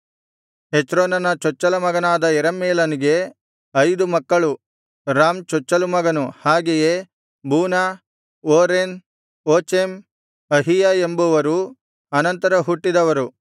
ಹೆಚ್ರೋನನ ಚೊಚ್ಚಲಮಗನಾದ ಯೆರಹ್ಮೇಲನಿಗೆ ಐದು ಮಕ್ಕಳು ರಾಮ್ ಚೊಚ್ಚಲು ಮಗನು ಹಾಗೆಯೇ ಬೂನ ಓರೆನ್ ಓಚೆಮ್ ಅಹೀಯ ಎಂಬುವರು ಅನಂತರ ಹುಟ್ಟಿದವರು